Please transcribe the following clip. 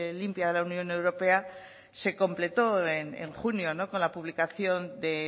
limpia de la unión europea se completó en junio con la publicación de